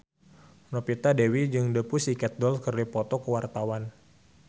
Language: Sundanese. Novita Dewi jeung The Pussycat Dolls keur dipoto ku wartawan